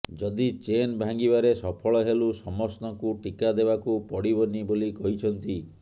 ଯଦି ଚେନ୍ ଭାଙ୍ଗିବାରେ ସଫଳ ହେଲୁ ସମସ୍ତଙ୍କୁ ଟିକା ଦେବାକୁ ପଡ଼ିବନି ବୋଲି କହିଛନ୍ତି